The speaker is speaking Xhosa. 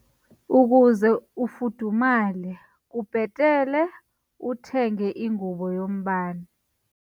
Ukuze ufudumale kubhetele uthenge ingubo yombane.